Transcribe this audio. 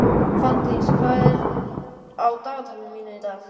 Fanndís, hvað er á dagatalinu mínu í dag?